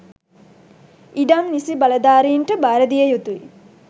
ඉඩම් නිසි බලධාරීන්ට භාරදිය යුතුයි